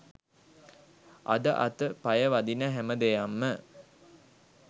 අද අත පය වදින හැම දෙයක්ම